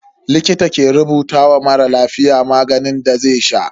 Likita ke rubuta wa mara lafiya maganin da zai sha.